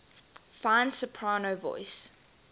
fine soprano voice